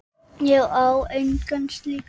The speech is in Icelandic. Ég á eina slíka.